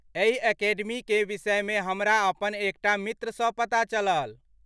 एहि अकेडमीकेँ विषयमे हमरा अपन एक टा मित्रसँ पता चलल।